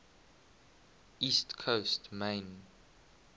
east coast maine